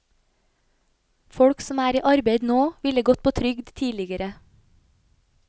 Folk som er i arbeid nå, ville gått på trygd tidligere.